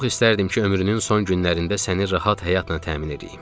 Çox istərdim ki, ömrünün son günlərində səni rahat həyatla təmin edəyəm.